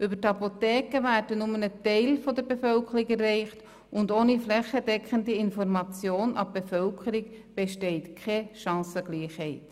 Über die Apotheken wird nur ein Teil der Bevölkerung erreicht und ohne flächendeckende Information an die Bevölkerung besteht keine Chancengleichheit.